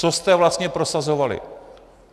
Co jste vlastně prosazovali.